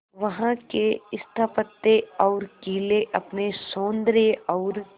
वहां के स्थापत्य और किले अपने सौंदर्य और